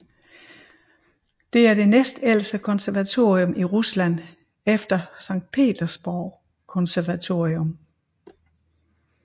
Det er det næstældste konservatorium i Rusland efter Sankt Petersborg konservatorium